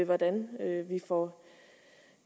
hvordan vi får